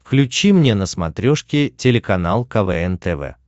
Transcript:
включи мне на смотрешке телеканал квн тв